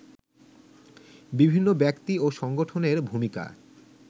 বিভিন্ন ব্যক্তি ও সংগঠনের ভূমিকা